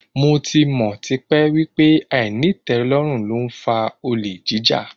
Mo ti mọ̀ tipẹ́ wípé àìnítẹ̀lórùn ló ń fa olè jíjà.